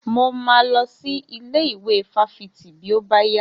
Mo máa lọ sí ilé ìwé fáfitì bí ó bá yá.